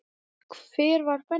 Hver var Benni?